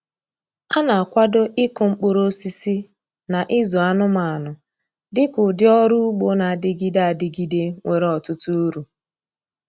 A na-akwado ịkụ mkpụrụosisi na ịzụ anụmanụ dị ka ụdị ọrụ ugbo na-adịgide adịgide nwere ọtụtụ uru.